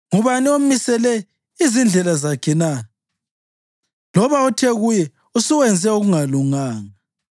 Ngubani omisele izindlela zakhe na, loba othe kuye, ‘Usuwenze okungalunganga?’